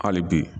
Hali bi